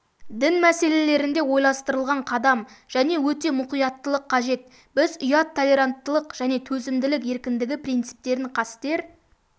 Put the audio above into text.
дін мәселелерінде ойластырылған қадам және өте мұқияттылық қажет біз ұят толеранттылық және төзімділік еркіндігі принциптерін қастер